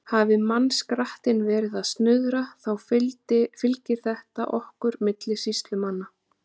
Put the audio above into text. Hafi mannskrattinn verið að snuðra, þá fylgir þetta okkur milli sýslumanna.